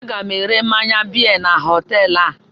Aga m ere mmanya biya na họteelụ a.